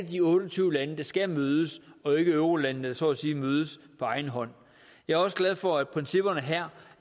de otte og tyve lande der skal mødes og ikke eurolandene der så at sige mødes på egen hånd jeg er også glad for at principperne her